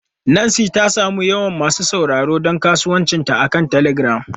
Nancy ta sami yawan masu sauraro don kasuwancinta akan telegram.